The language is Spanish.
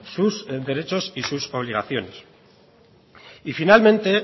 sus derecho y sus obligaciones y finalmente